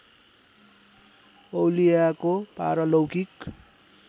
औलियाको पारलौकिक